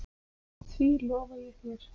Því lofa ég þér